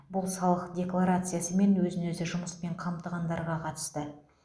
бұл салық декларациясы мен өзін өзі жұмыспен қамтығандарға қатысты